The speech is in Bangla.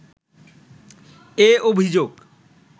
এ অভিযোগ